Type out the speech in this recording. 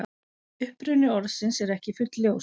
Uppruni orðsins er ekki fullljós.